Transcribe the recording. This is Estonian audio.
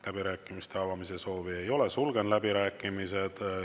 Läbirääkimiste avamise soovi ei ole, sulgen läbirääkimised.